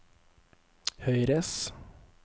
høyres